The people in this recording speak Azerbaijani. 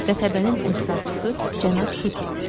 Qəsəbənin əczacısı cənab Şukedir.